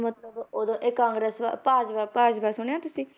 ਮਤਲਬ ਉਦੋਂ ਇਹ ਕਾਂਗਰਸ ਭਾਜਪਾ ਭਾਜਪਾ ਸੁਣਿਆ ਤੁਸੀਂ?